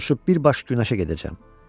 Mən uçub bir baş günəşə gedəcəm.